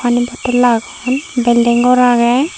pani bodol agon building gor agey.